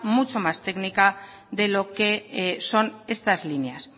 mucho más técnica de lo que son estas líneas